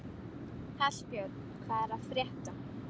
Hallbjörn, hvað er að frétta?